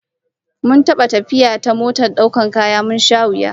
Mun taba yin tafiya ta motar daukar kaya, mun sha wuya